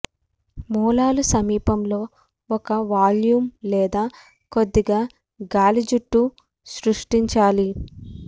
మూలాలు సమీపంలో ఒక వాల్యూమ్ లేదా కొద్దిగా గాలి జుట్టు సృష్టించాలి